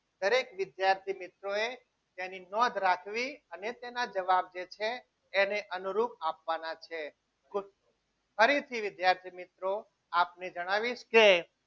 દરેક વિદ્યાર્થી મિત્રોએ તેની નોંધ રાખવી અને તેના જવાબ જે છે એને અનુરૂપ આપવાના છે ફરીથી વિદ્યાર્થી મિત્રો આપને જણાવીશ કે